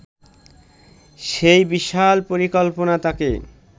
সেই বিশাল পরিকল্পনা তাঁকে